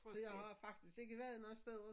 Så jeg har faktisk ikke været noget steder